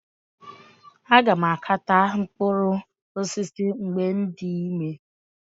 Aga m aka taa mkpụrụ osisi mgbe m dị ime.